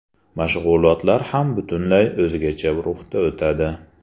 Mashg‘ulotlar ham butunlay o‘zgacha ruhda o‘tadi.